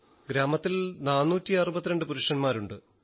ഗ്രാമത്തിൽ 462 പുരുഷന്മാരുണ്ട്